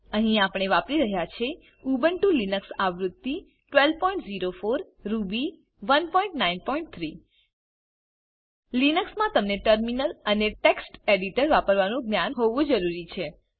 અહીં આપણે વાપરી રહ્યા છે ઉબુન્ટુ લિનક્સ આવૃત્તિ 1204 રૂબી 193 લિનક્સ મા તમને ટર્મિનલ અને ટેક્સ્ટ એડિટર વાપરવાનું જ્ઞાન હોવું જરૂરી છે